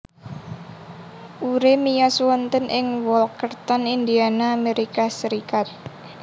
Urey miyos wonten ing Walkerton Indiana Amerika Serikat